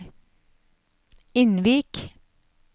Innvik